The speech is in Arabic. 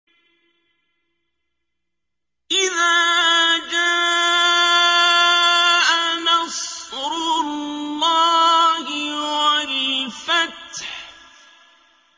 إِذَا جَاءَ نَصْرُ اللَّهِ وَالْفَتْحُ